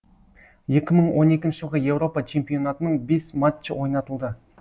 екі мың он екінші жылғы еуропа чемпионатының бес матчы ойнатылды